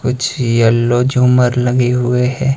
कुछ येलो झूमर लगे हुए है।